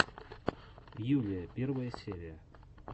юлия первая серия